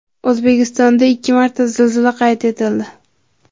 O‘zbekistonda ikki marta zilzila qayd etildi.